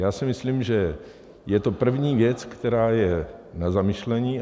Já si myslím, že je to první věc, která je na zamyšlení.